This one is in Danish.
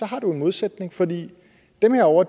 har du en modsætning fordi dem herovre